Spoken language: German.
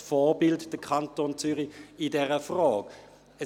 Ist denn der Kanton Zürich in dieser Frage ein Vorbild?